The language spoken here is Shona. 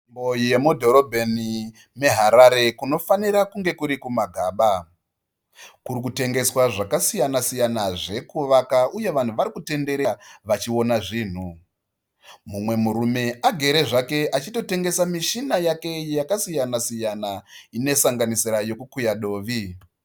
Nzvimbo yemubhorobheni meharare kunofanira kunge kurikumagaba. Kurikutengeswa zvakasiyana-siyana zvekuvaka uye vanhu varikutenderera vachiona zvinhu. Mumwe murume arikutengesa muchina yake yakasiyana siyana inosanganisira yekukuya dovi.